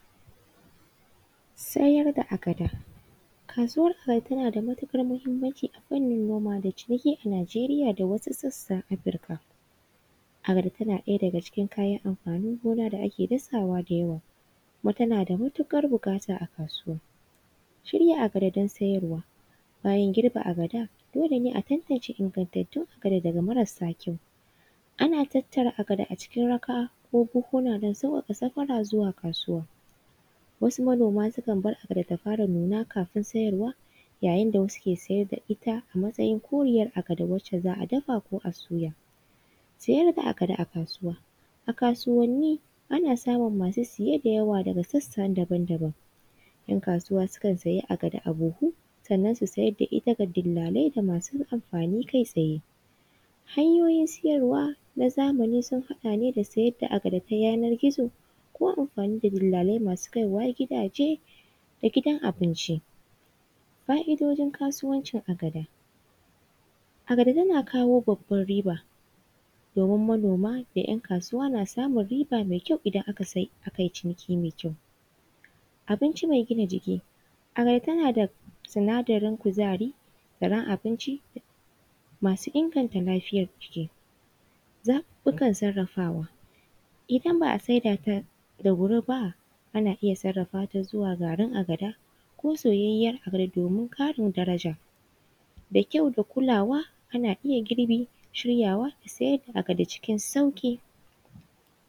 Sayar da agada. Kasuwar agada tana da matuƙar muhimmanci a fannin noma da ciniki a Nigeria da wasu sassan Africa. Agada tana ɗaya daga cikin amfanin gona da ake dasawa da yawa kuma tana da matuƙar buƙata a kasuwa. Shirya agada don siyarwa: bayan girbe agada, dole ne a tantance ingantattun agada daga marsa kyau. Ana tattara agada a cikin raka ko buhunhuna don sawwaƙa safara zuwa kasuwa. Wasu manoma sukan bar agada ta fara nuna kafin siyarwa, yayin da wasu suke siyar da ita a matsayin koriyar agada wacce za a dafa ko a soya. Siyar da agada a kasuwa: a kasuwanni, ana samun masu saye da yawa daga sassa daban daban. ‘Yan kasuwa sukan siya agada a buhu sannan su siyar da ita ga dillalai da masu amfani kai tsaye. Hanyoyin siyarwa na zamani sun haɗa ne da siyar da agada ta yanar-gizo ko amfani da dillalai masu kaiwa gidaje da gidan abinci. Fa’idojin kasuwancin agada: agada tana kawo babbar riba domin manoma da ‘yan kasuwa na samun riba mai kyau idan aka yi ciniki mai kyau. Abinci mai gina jiki:: agada tana da sinadarin kuzari, zaren abinci masu inganta lafiyar jiki. zaɓuɓɓukan sarrafawa: idan ba a sai da ta da wuri ba, ana iyasarrafa ta zuwa garin agada ko soyayyiyar agada domin ƙarin daraja da kyau da kulawa ana iya girbi, shiryawa, siyar da agada cikin sauƙi.